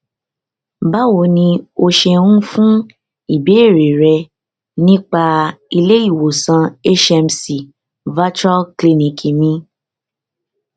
báwo ni o ṣeun fún ìbéèrè rẹ nípa ilé ìwòsàn hcm virtual clinic mi